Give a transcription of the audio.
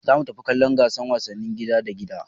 Za mu tafi kallon gasar wasannin gida da gida